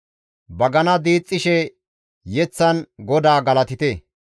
Bagana diixxishe mazamuren GODAA galatite;